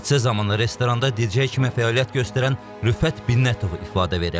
Hadisə zamanı restoranda DJ kimi fəaliyyət göstərən Rüfət Binnətov ifadə verib.